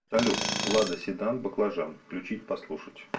салют лада седан баклажан включить послушать